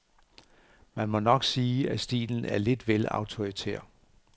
Man må nok sige, at stilen er lidt vel autoritær.